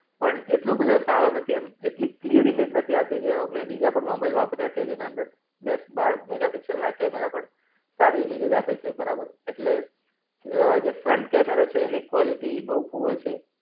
પણ એટલો બધો સારો નથી. એમ એટલી ક્લિયર ઈમેજ નથી આવતી, જેવામેં બીજા પણ મોબાઈલ વાપ્ર્યાં છે, જેના અંદર દસ બાર મેગાપિક્સલના કેમેરા પણ સારી ઈમેજીસ આપે છે બરાબર. એટલે અ જે ફ્રન્ટ કેમેરો છે એની ક્વોલિટી બૌ પુઅર છે.